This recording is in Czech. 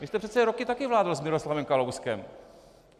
Vy jste přece roky taky vládl s Miroslavem Kalouskem.